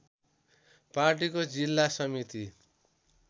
पार्टीको जिल्ला समिति